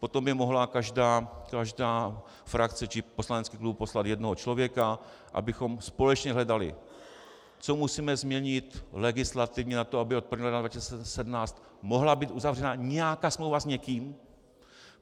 Potom by mohla každá frakce či poslanecký klub poslat jednoho člověka, abychom společně hledali, co musíme změnit legislativně na tom, aby od 1. ledna 2017 mohla být uzavřena nějaká smlouva s někým.